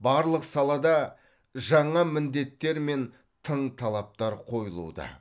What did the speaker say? барлық салада жаңа міндеттер мен тың талаптар қойылуда